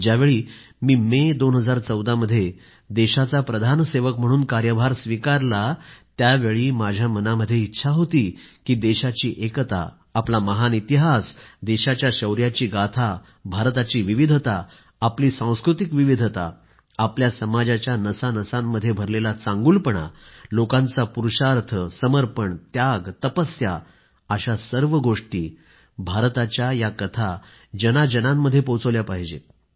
ज्यावेळी मी मे 2014 मध्ये देशाचा प्रधानसेवक म्हणून कार्यभार स्वीकारला त्यावेळी माझ्या मनामध्ये इच्छा होती की देशाची एकता आपला महान इतिहास देशाच्या शौर्याची गाथा भारताची विविधता आपली सांस्कृतिक विविधता आपल्या समाजाच्या नसांनसांमध्ये भरलेला चांगुलपणा लोकांचा पुरुषार्थ समर्पण त्याग तपस्या अशा सर्व गोष्टी भारताच्या या कथा जनाजनांमध्ये पोहोचल्या पाहिजेत